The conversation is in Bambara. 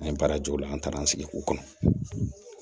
An ye baarajugu la an taara an sigi k'u kɔnɔ